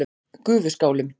Gufuskálum